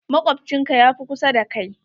Makwabcin ka ya fi kusa da kai.